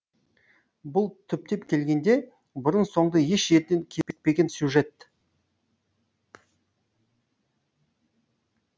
бұл түптеп келгенде бұрын соңды еш жерден кезікпеген тың сюжет